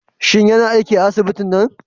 Shin yana aiki a asibitin nan?